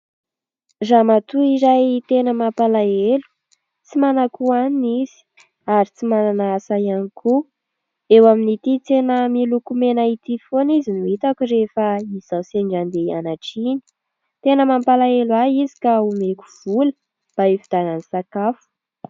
Ramatoa iray tena mampalahelo tsy manan-ko hoanina izy ary tsy manana asa ihany koa. Eo amin'ity tsena miloko mena ity foana izy no hitako rehefa izao sendra andeha ianatra iny. Tena mampalahelo ahy izy ka omeko vola mba hividianany sakafo.